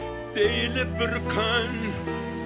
сейіліп бір күн